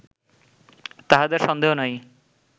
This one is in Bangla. তাহাতে সন্দেহ নাই